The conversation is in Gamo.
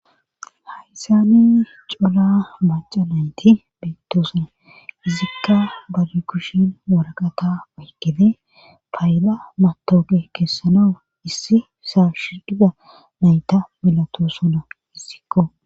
hayssyani cola maaca nayti beettosuna izikka bari kushin woraqata aykede pay7ila matooqe keessanau issi saashidhida nayta milato sona issikko